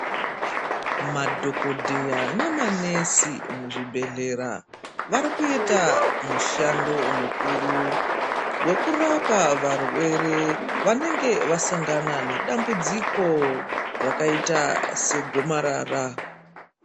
Madhokodheya namanesi muzvibhehleya varikuita mushando mukuru wekurapa varwere vanenge vasangana nedambudziko rakaita segomarara.